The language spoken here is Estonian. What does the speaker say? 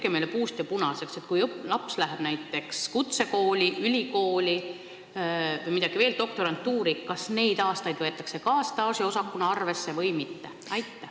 Palun tehke meile puust ja punaseks ette: noor inimene läheb näiteks kutsekooli, ülikooli või veel ka doktorantuuri, kas neid aastaid võetakse ka staažiosakuna arvesse või mitte?